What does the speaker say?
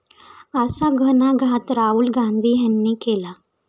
असा घणाघात राहुल गांधी यांनी केला.